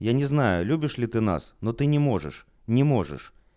я не знаю любишь ли ты нас но ты не можешь не можешь